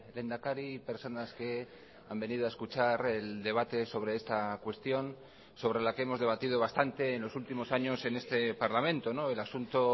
lehendakari y personas que han venido a escuchar el debate sobre esta cuestión sobre la que hemos debatido bastante en los últimos años en este parlamento el asunto